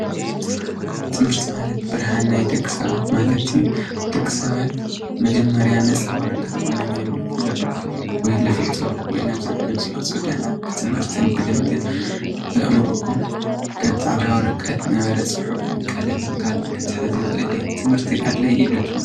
ትምህርቲ ማለት ብርሃን ናይ ደቂ ሰባት ማለት እዩ። ደቂ ሰባት መጀመርያ ነፃ ወረቀት ኮይኖም እዮም ዝውለዱ ወይ ዝፍጠሩ ወይ ናብ ዝዓለም ዝመፁ ድሓር ብትምህርትን ብልምድን ብኣእሮም ከም ፃዕዳ ወረቀት ዝነበረ ቀለምን ፅሑፍን ካልኦት ክሕዝ ይክእል እዩ። ትምህርቲ ኣድላይ እዩ ዶ ትብሉ?